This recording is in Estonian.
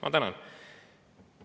Ma tänan!